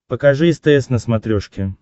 покажи стс на смотрешке